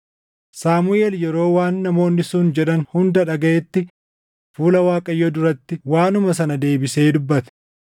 Saamuʼeel yeroo waan namoonni sun jedhan hunda dhagaʼetti fuula Waaqayyoo duratti waanuma sana deebisee dubbate.